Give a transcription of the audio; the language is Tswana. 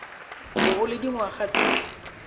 bo o le dingwaga tse